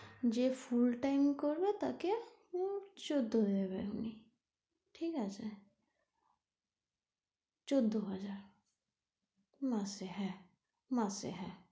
যে full time করবে তাকে উম চোদ্দ দেবে উনি ঠিক আছে? চোদ্দ হাজার মাসে হ্যাঁ, মাসে হ্যাঁ তো,